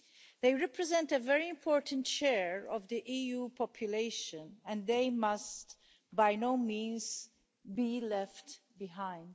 They represent a very important share of the EU population, and they must by no means be left behind.